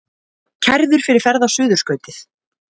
Kærður fyrir ferð á Suðurskautið